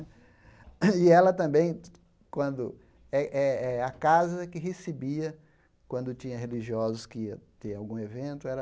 E ela também, quando...Eh eh eh a casa que recebia, quando tinha religiosos que ia ter algum evento, era...